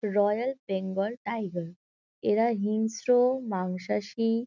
Royal Bengal tiger. এরা হিংস্র মাংসাশী--